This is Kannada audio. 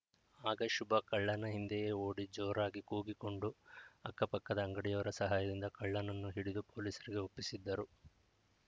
ಆಗ ಶುಭ ಕಳ್ಳನ ಹಿಂದೆಯೇ ಓಡಿ ಜೋರಾಗಿ ಕೂಗಿಕೊಂಡು ಅಕ್ಕ ಪಕ್ಕದ ಅಂಗಡಿಯವರ ಸಹಾಯದಿಂದ ಕಳ್ಳನನ್ನು ಹಿಡಿದು ಪೊಲೀಸರಿಗೆ ಒಪ್ಪಿಸಿದ್ದರು